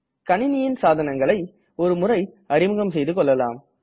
கனிணியின் சாதனங்களை ஒரு முறை அறிமுகம் செய்துகொள்ளலாம்